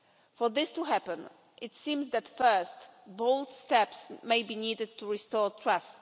For this to happen, it seems that, first, bold steps may be needed to restore trust.